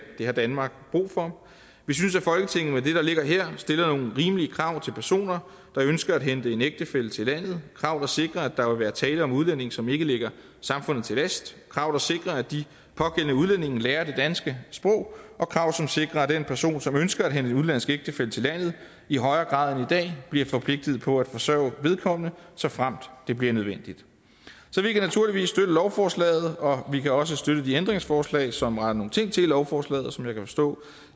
det har danmark brug for vi synes at folketinget med det der ligger her stiller nogle rimelige krav til personer der ønsker at hente en ægtefælle til landet krav der sikrer at der vil være tale om udlændinge som ikke ligger samfundet til last krav der sikrer at de pågældende udlændinge lærer det danske sprog og krav som sikrer at den person som ønsker at hente en udenlandsk ægtefælle til landet i højere grad end dag bliver forpligtet på at forsørge vedkommende såfremt det bliver nødvendigt så vi kan naturligvis støtte lovforslaget og vi kan også støtte de ændringsforslag som retter nogle ting til i lovforslaget og som jeg kan forstå